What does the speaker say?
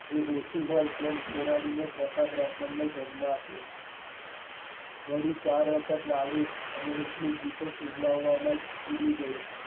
એ ઓછું હોય તેમ ગોરાણી એ ચોથા બ્રાહ્મણ ને જન્મ આપ્યો વળી ચાર વખત લાડુ ને એટલું ઘી તો સુવડાવવામાં જ ઊડી ગયું.